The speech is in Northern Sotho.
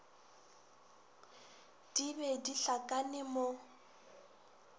di be di hlakane mo